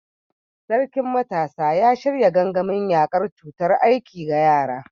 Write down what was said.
Sarkin Matasa ya shirya gangamin yakar cutar aiki ga yara.